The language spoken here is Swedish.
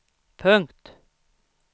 punkt